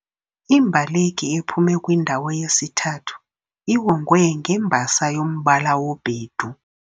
Imbaleki ephume kwindawo yesithathu iwongwe ngembasa yombala wobhedu.